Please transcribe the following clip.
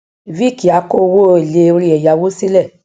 viiki a ko owo ele ori eyawo sile